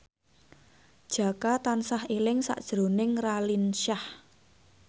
Jaka tansah eling sakjroning Raline Shah